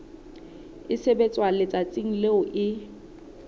e sebetswa letsatsing leo e